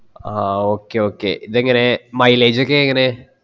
അഹ് okay okay ഇത് എങ്ങനെ mileage ഒക്കെ എങ്ങനെ